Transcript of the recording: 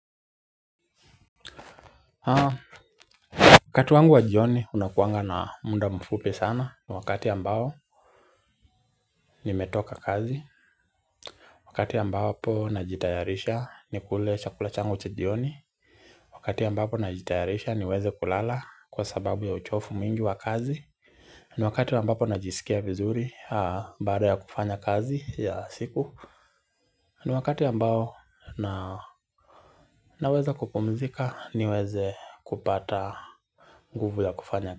Haa, wakati wangu wa jioni unakuanga na muda mfupi sana. Ni wakati ambao nimetoka kazi. Wakati ambapo najitayarisha nikule chakula changu cha jioni. Wakati ambapo najitayarisha niweze kulala kwa sababu ya uchovu mwingi wa kazi. Ni wakati ambapo najisikia vizuri baada ya kufanya kazi ya siku. Ni wakati ambao naweza kupumzika niweze kupata nguvu ya kufanya.